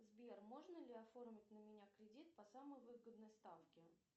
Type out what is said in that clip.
сбер можно ли оформить на меня кредит по самой выгодной ставке